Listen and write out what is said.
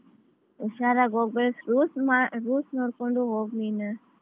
ಹುಷಾರಾಗಿ ಹೋಗ್ಬೇಕ್ rules ನೋಡ್ಕೊಂಡು ಹೋಗ್ ನೀನ್?